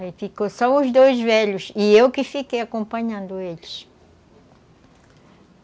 Aí ficou só os dois velhos e eu que fiquei acompanhando eles.